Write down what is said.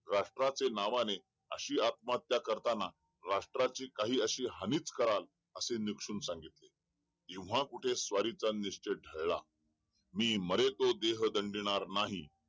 राष्ट्राच्या नावाने अशी आत्महत्या करताना राष्टाची कहाणी अशी हानीच कराल असे निपचून सांगेल तेव्हा कुठे स्वारीचा निश्चयच ढळला मी मरेल तो देह दंडिनार नाही